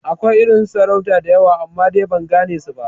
Akwai irin su sarautar da yawa amma, dai ban gane su ba